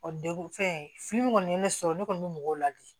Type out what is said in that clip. dekun fɛn fini kɔni ye ne sɔrɔ ne kɔni bɛ mɔgɔw ladi